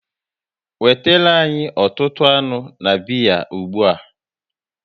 Wetere anyị ọtụtụ anụ na biya ụgbụa!